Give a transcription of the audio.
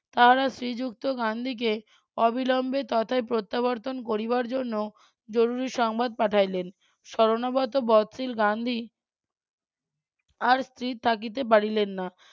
তারা শ্রীযুক্ত গান্ধীকে অবিলম্বে তথায় প্রত্যাবর্তন করিবার জন্য জরুরি সংবাদ পাঠাইলেন শরণাগত বৎসিল গান্ধী আর স্থির থাকিতে পারিলেন না.